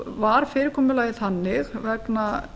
var fyrirkomulagið þannig vegna